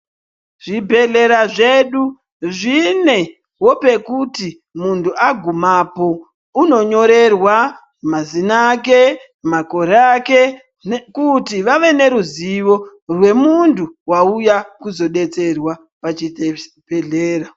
Zvibhedhlera zvedu zvinewo pekuti muntu agumapo, unonyorerwa mazina ake, makore ake, kuti vave neruzivo rwemuntu wauya kuzodetserwa pachibhedhlera.